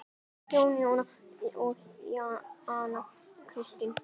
Jónína, Jónas og Anna Katrín.